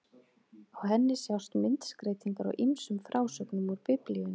Á henni sjást myndskreytingar á ýmsum frásögnum úr Biblíunni.